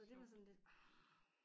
Så det var sådan lidt ah